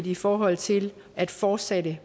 i forhold til at fortsætte